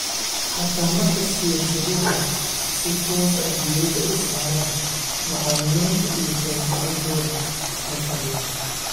Xataa marka siyaasaduhu si toos ah diiradda u saaraan macallimiinta iyo horumarintooda xirfadeed.